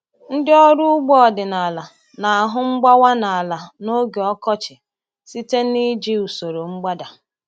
Ndị ọrụ ugbo ọdịnala na-ahụ mgbawa n’ala n’oge ọkọchị site n’iji usoro mgbada.